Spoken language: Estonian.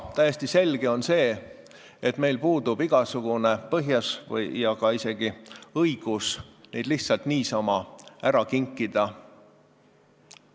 Aga täiesti selge on, et meil puudub igasugune põhjus ja isegi õigus neid lihtsalt niisama ära kinkida.